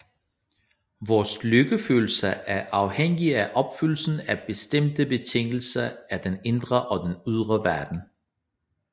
Vores lykkefølelse er afhængig af opfyldelsen af bestemte betingelser i den indre og den ydre verden